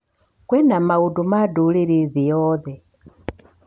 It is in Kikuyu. Kwĩna maũndũ ma ndũrĩrĩ thĩ yoothe